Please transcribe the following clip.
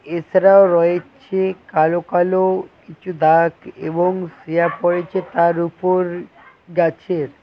এছাড়াও রয়েছে কালো কালো কিছু দাগ এবং ছেয়া পড়েছে তার উপর গাছের।